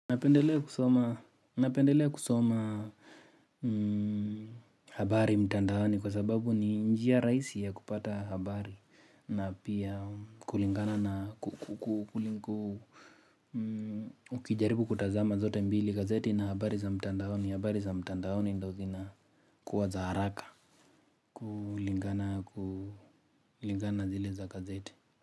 Napendelea kusoma habari mtandaoni kwa sababu ni njia rahisi ya kupata habari na pia kulingana na ukijaribu kutazama zote mbili gazeti na habari za mtandaoni. Habari za mtandaoni ndio zina kuwa za haraka. Kulingana zile za gazeti.